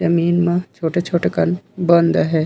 जमीन म छोटे-छोटे कन बंद हे।